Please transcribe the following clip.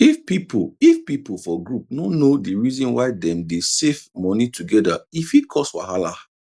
if pipu if pipu for group no know d reason why dem dey safe moni togeda e fit cause wahala